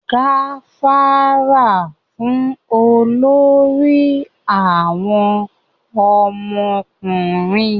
gafara fún olórí àwọn ọmọkùnrin!